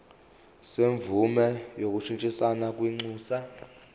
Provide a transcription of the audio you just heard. semvume yokushintshisana kwinxusa